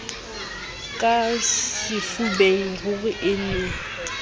ka sefubeng ruri e ne